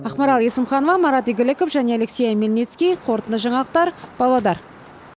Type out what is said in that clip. ақмарал есімханова марат игіліков және алексей омельницкий қорытынды жаңалықтар павлодар